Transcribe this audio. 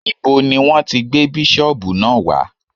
Ibo ni Wọ́n ti gbé bísọ̀bù náà wá?